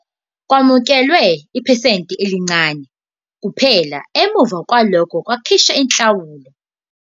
Kwamukelwa iphesenti elincane kuphela emva kwalokho ukhokhiswa inhlawulo.